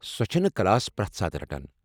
سۄ چھےٚ نہٕ کلاس پرٛٮ۪تھ ساتہٕ رٹان